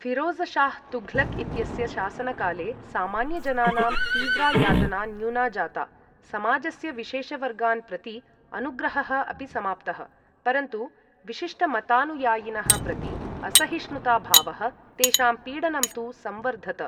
फ़िरोज़शाह तुघलक् इत्यस्य शासनकाले सामान्यजनानां तीव्रा यातना न्यूना जाता, समाजस्य विशेषवर्गान् प्रति अनुग्रहः अपि समाप्तः, परन्तु विशिष्ट मतानुयायिनः प्रति असहिष्णुता भावः, तेषां पीडनं तु संवर्धत।